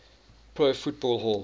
pro football hall